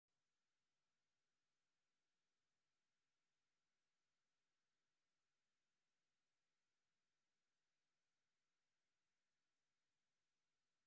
Iyada oo loo marayo waxbarashada, ardaydu waxay bartaan muhiimada midnimada qaranka.